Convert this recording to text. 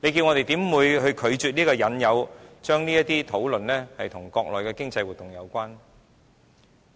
我們怎可能拒絕這個引誘，不去將這些討論與國內經濟活動相提並論？